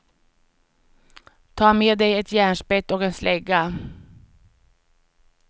Ta med dig ett järnspett och en slägga.